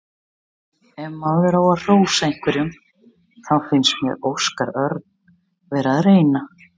Ef maður á að hrósa einhverjum þá fannst mér Óskar Örn vera að reyna.